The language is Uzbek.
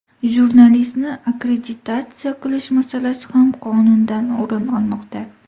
Jurnalistni akkreditatsiya qilish masalasi ham qonundan o‘rin olmoqda.